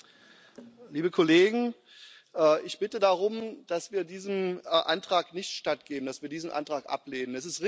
Herr Präsident, liebe Kollegen! Ich bitte darum, dass wir diesem Antrag nicht stattgeben, dass wir diesen Antrag ablehnen.